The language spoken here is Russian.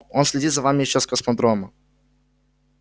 он следит за вами ещё с космодрома